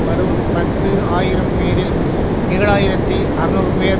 வரும் பத்து ஆயிரம்பேரில் ஏழு ஆயிரத்தி அறுநூறுபேர்